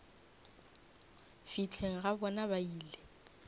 fihleng ga bona ba ile